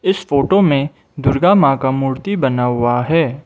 इस फोटो में दुर्गा मां का मूर्ति बना हुआ है।